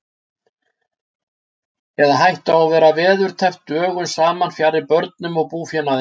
Eða hættu á að vera veðurteppt dögum saman fjarri börnum og búfénaði.